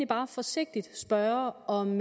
bare forsigtigt spørge om